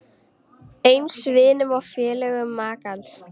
Eins vinum og félögum makans.